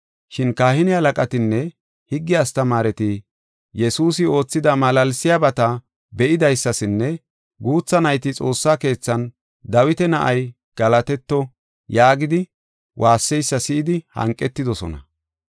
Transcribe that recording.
Shin kahine halaqatinne higge astamaareti Yesuusi oothida malaalsiyabata be7idaysasinne guutha nayti xoossa keethan, “Dawita na7ay, galatetto” yaagidi waasseysa si7idi hanqetidosona.